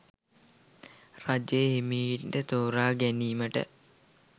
රජය හෙමිහිට තෝරාගැනීමට